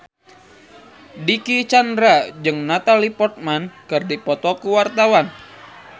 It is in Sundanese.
Dicky Chandra jeung Natalie Portman keur dipoto ku wartawan